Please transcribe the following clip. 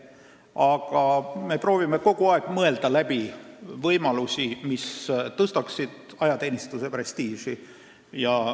Aga me proovime kogu aeg mõelda läbi võimalusi, mis tõstaksid ajateenistuse prestiiži.